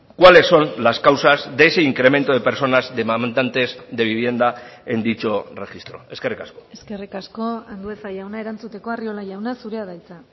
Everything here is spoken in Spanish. cuáles son las causas de ese incremento de personas demandantes de vivienda en dicho registro eskerrik asko eskerrik asko andueza jauna erantzuteko arriola jauna zurea da hitza